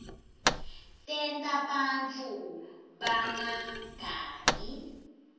tenta bantfu bangagangi